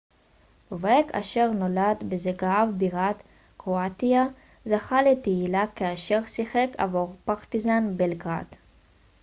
בובק אשר נולד בזגרב בירת קרואטיה זכה לתהילה כאשר שיחק עבור פרטיזן בלגרד